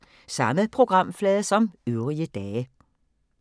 Samme programflade som øvrige dage